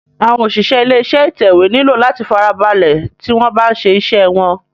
Àwọn òṣìṣẹ́ ilé iṣé ìtẹ̀wé nílò láti farabalẹ̀ tí wọ́n bá ń ṣe iṣé wọ́n.